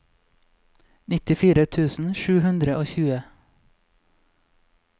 nittifire tusen sju hundre og tjue